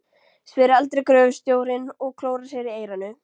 spyr eldri gröfustjórinn og klórar sér í eyranu.